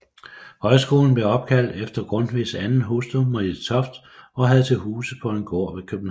Højskolen blev opkaldt efter Grundtvigs anden hustru Marie Toft og havde til huse på en gård ved København